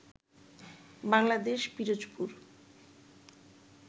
Bangladesh Pirojpur